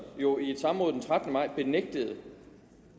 jo i et samråd den trettende maj benægtede